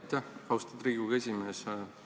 Aitäh, austatud Riigikogu esimees!